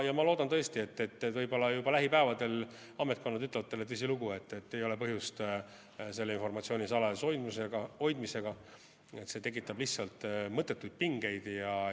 Ja ma tõesti loodan, et võib-olla juba lähipäevadel ametkonnad ütlevad teile, et tõsilugu, ei ole põhjust seda informatsiooni salajas hoida, see tekitab lihtsalt mõttetuid pingeid.